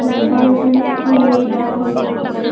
তো ফাংশানে একটি মেয়ে ড্যান্স করছে।